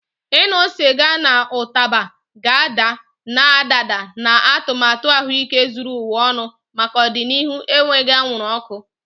Ịṅụ sịga na ụtaba ga-ada, na-adaba na atụmatụ ahụike zuru ụwa ọnụ maka ọdịnihu enweghị anwụrụ ọkụ.